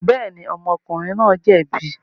Bẹ́ẹ̀ni, ọmọkùnrin náà jẹ̀bi.